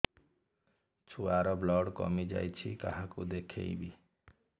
ଛୁଆ ର ବ୍ଲଡ଼ କମି ଯାଉଛି କାହାକୁ ଦେଖେଇବି